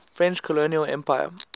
french colonial empire